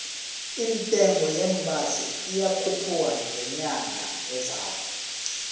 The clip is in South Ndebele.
intengo yeembaseli iyakhupuka ngenyanga ezako